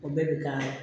O bɛɛ bi k'a la